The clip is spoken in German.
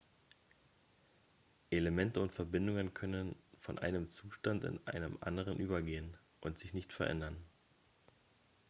elemente und verbindungen können von einem zustand in einen anderen übergehen und sich nicht verändern